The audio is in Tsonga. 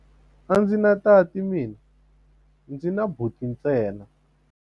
A ndzi na tati mina, ndzi na buti ntsena.